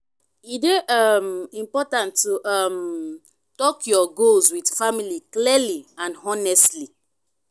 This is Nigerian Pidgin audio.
e dey um important to um talk your goals with family clearly and honestly.